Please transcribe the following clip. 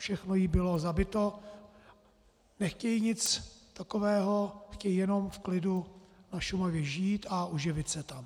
Všechno jí bylo zabito, nechtějí nic takového, chtějí jenom v klidu na Šumavě žít a uživit se tam.